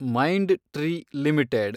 mind tree limited